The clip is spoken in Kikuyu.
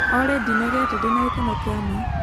olly ndĩnogete ndĩna gĩkeno kĩa ma